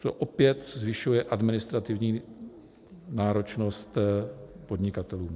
To opět zvyšuje administrativní náročnost podnikatelům.